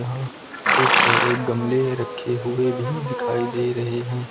और खूब सारे गमले रखे हुए भी दिखाई दे रहे हैं।